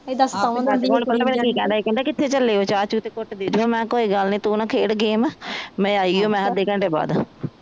ਕਹਿੰਦਾ ਕਿਥੇ ਚਲੇ ਓ ਚਾਅ ਚੂ ਦਾ ਘੁੱਟ ਦੇ ਦਿਓ ਮੈਂ ਕਿਹਾ ਕੋਈ ਗੱਲ ਨੀ ਤੂੰ ਨਾ ਖੇਡ ਮੈਂ ਆਈ ਓ ਮੈਂ ਅੱਧੇ ਕੰਟੇ ਬਾਦ